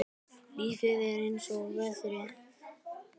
Lífið er eins og veðrið.